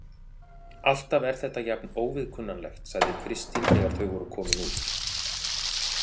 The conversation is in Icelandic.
Alltaf er þetta jafn óviðkunnanlegt, sagði Kristín þegar þau voru komin út.